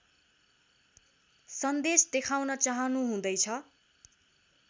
सन्देश देखाउन चाहनुहुँदैछ